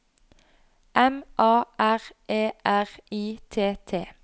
M A R E R I T T